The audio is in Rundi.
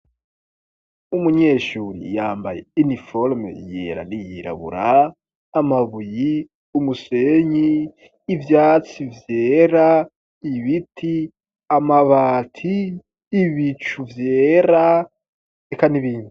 Umunyeshuri yambaye iniforume yera niyirabura .amabuyi umusenyi ivyatsi vyera ibiti amabati ibicu vyera eka n'ibindi.